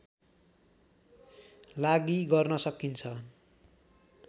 लागि गर्न सकिन्छ